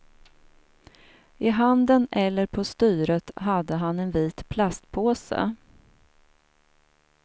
I handen eller på styret hade han en vit plastpåse.